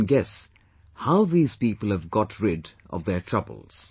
You can guess how these people have got rid of their trouble